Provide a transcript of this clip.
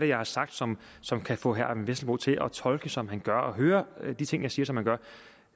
jeg har sagt som som kan få herre vesselbo til at tolke som han gør og høre de ting jeg siger som han gør